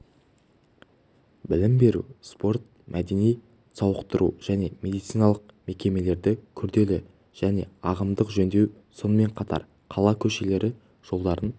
білім беру спорт-мәдени сауықтыру және медициналық мекемелерді күрделі және ағымдық жөндеу сонымен қатар қала көшелері жолдарын